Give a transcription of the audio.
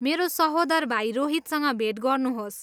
मेरो सहोदर भाइ रोहितसँग भेट गर्नुहोस्।